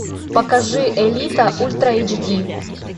покажи элита ультра эйч ди